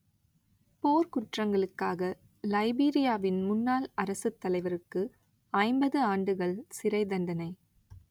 போர்க்குற்றங்களுக்காக லைபீரியாவின் முன்னாள் அரசுத்தலைவருக்கு ஐம்பது ஆண்டுகள் சிறை தண்டனை